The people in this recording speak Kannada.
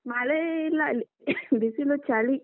ಮಳೆ ಇಲ್ಲ ಇಲ್ಲಿ ಬಿಸಿಲು ಚಳಿ.